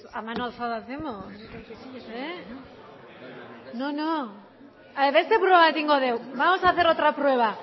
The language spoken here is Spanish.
a ver marcando al revés oye pues a mano alzada hacemos eh no no beste proba bat egingo dugu vamos a hacer otra prueba